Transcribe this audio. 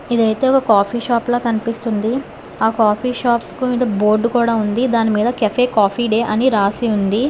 ఇది అయితే ఒక కాఫీ షాప్ లా కనిపిస్తుంది ఆ కాఫీ షాప్ ముందు బోర్డు కూడా ఉంది దాని మీద కేఫ్ కాఫీ డే అని రాసి ఉంది.